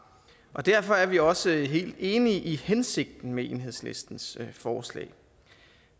og derfor er vi også helt enige i hensigten med enhedslistens forslag